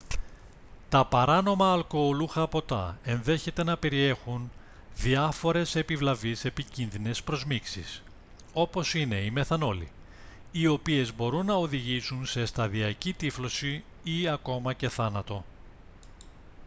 τα παράνομα αλκοολούχα ποτά ενδέχεται να περιέχουν διάφορες επιβλαβείς επικίνδυνες προσμίξεις όπως είναι η μεθανόλη οι οποίες μπορούν να οδηγήσουν σε σταδιακκή τύφλωση ή ακόμα και θάνατο